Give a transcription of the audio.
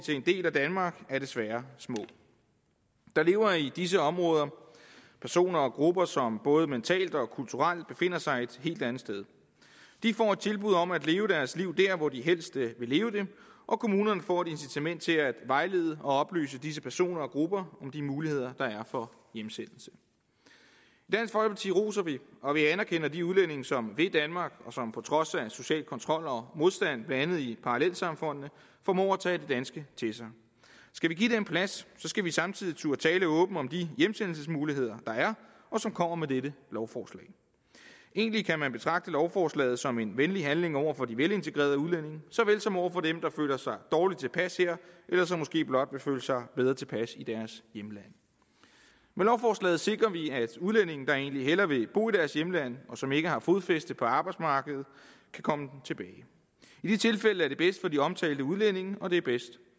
en del af danmark er desværre små der lever i disse områder personer og grupper som både mentalt og kulturelt befinder sig et helt andet sted de får et tilbud om at leve deres liv dér hvor de helst vil leve det og kommunerne får et incitament til at vejlede og oplyse disse personer og grupper om de muligheder der er for hjemsendelse i roser vi og anerkender de udlændinge som vil danmark og som på trods af social kontrol og modstand blandt andet i parallelsamfundene formår at tage det danske til sig skal vi give det en plads skal vi samtidig turde tale åbent om de hjemsendelsesmuligheder der er og som kommer med dette lovforslag egentlig kan man betragte lovforslaget som en venlig handling over for de velintegrerede udlændinge såvel som over for dem der føler sig dårligt tilpas her eller som måske blot vil føle sig bedre tilpas i deres hjemland med lovforslaget sikrer vi at udlændinge der egentlig hellere vil bo i deres hjemland og som ikke har fodfæste på arbejdsmarkedet kan komme tilbage i de tilfælde er det bedst for de omtalte udlændinge og det er bedst